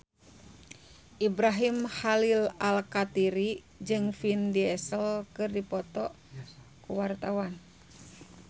Ibrahim Khalil Alkatiri jeung Vin Diesel keur dipoto ku wartawan